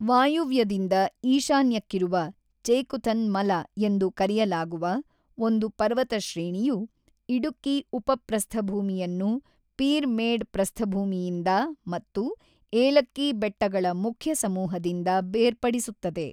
ವಾಯುವ್ಯದಿಂದ ಈಶಾನ್ಯಕ್ಕಿರುವ ಚೇಕುಥನ್ ಮಲ ಎಂದು ಕರೆಯಲಾಗುವ ಒಂದು ಪರ್ವತಶ್ರೇಣಿಯು ಇಡುಕ್ಕಿ ಉಪಪ್ರಸ್ಥಭೂಮಿಯನ್ನು ಪೀರ್‌ಮೇಡ್ ಪ್ರಸ್ಥಭೂಮಿಯಿಂದ ಮತ್ತು ಏಲಕ್ಕಿ ಬೆಟ್ಟಗಳ ಮುಖ್ಯ ಸಮೂಹದಿಂದ ಬೇರ್ಪಡಿಸುತ್ತದೆ.